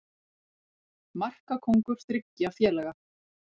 Markakóngur þriggja félaga